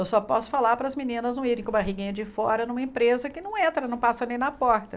Eu só posso falar para as meninas não irem com barriguinha de fora numa empresa que não entra, não passa nem na porta.